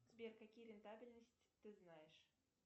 сбер какие рентабельности ты знаешь